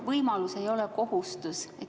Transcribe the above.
Võimalus ei ole kohustus.